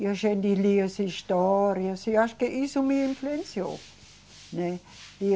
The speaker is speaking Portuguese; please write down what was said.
E a gente lia as histórias, e acho que isso me influenciou, né?